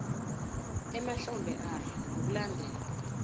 emahlombe ayo ngokulandela